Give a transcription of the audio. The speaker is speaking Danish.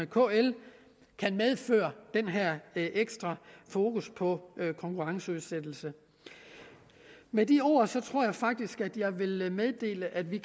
kl kan medføre den her ekstra fokus på konkurrenceudsættelse med de ord tror jeg faktisk jeg vil meddele at vi